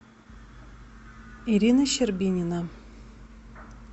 ирина щербинина